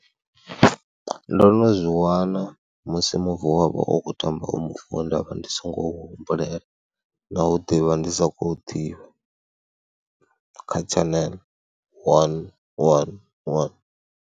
Ndo no zwi wana musi muvi wa vha u khou tamba u muvi we nda vha ndi songo humbulela na u ḓivha ndi sa khou ḓivha kha tshaneḽe wani wani wani.